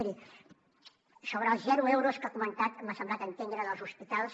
miri sobre els zero euros que ha comentat m’ha semblat entendre dels hospitals